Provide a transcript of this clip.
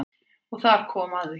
Og þar kom að því.